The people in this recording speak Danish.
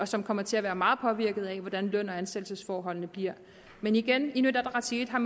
som kommer til at være meget påvirket af hvordan løn og ansættelsesforholdene bliver men igen inuit ataqatigiit har